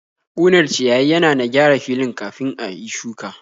Ƙunar ciyayi yana na gyara fili kafin a yi shuka.